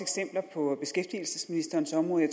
på beskæftigelsesministerens område